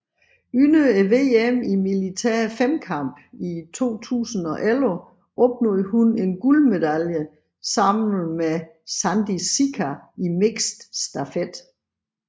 Under VM i militær femkamp i 2011 opnåede hun en guldmedalje sammen med Sandis Šika i mixed stafet